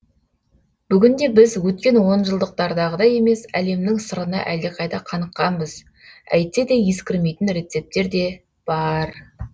бүгінде біз өткен онжылдықтардағыдай емес әлемнің сырына әлдеқайда қаныққанбыз әйтсе де ескірмейтін рецептер де бар